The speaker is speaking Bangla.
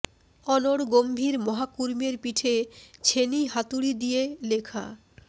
অনড় গম্ভীর মহাকুর্মের পিঠে ছেনি হাতুড়ি দিয়ে দিয়ে লেখা